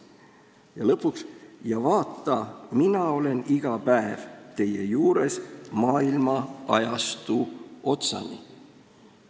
" Ja lõpuks: "Ja vaata, mina olen iga päev teie juures maailma-ajastu otsani!